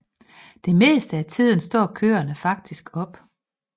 Det meste af tiden står køreren faktisk op